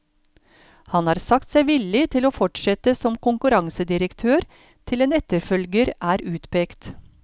Han har sagt seg villig til å fortsette som konkurransedirektør til en etterfølger er utpekt.